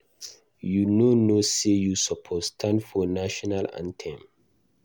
You no know say you suppose stand for national anthem.